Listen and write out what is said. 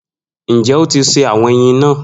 Njẹ o ti se awọn eyin naa?